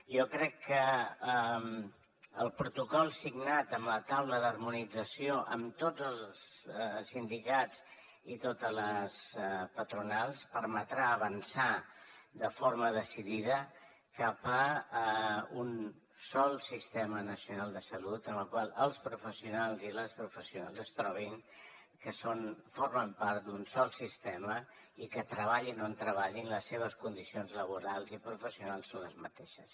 jo crec que el protocol signat amb la taula d’harmonització amb tots els sindicats i totes les patronals permetrà avançar de forma decidida cap a un sol sistema nacional de salut en el qual els professionals i les professionals es trobin que formen part d’un sol sistema i que treballin on treballin les seves condicions laborals i professionals són les mateixes